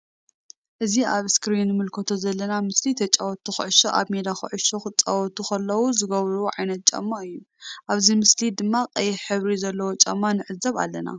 እዚ ኣብ ኣስክሪን እንምልከቶ ዘለና ምስሊ ተጣወቲ ኩዕሾ ኣብ ሜዳ ኩዕሾ ክጻወቱ ከለዉ ዝገብርዎ ዓይነ ጫማ እዩ። ኣብዚ ምስሊ ድማ ቀይሕ ሕብሪ ዘለዎ ጫማ ንዕዘብ ኣለና።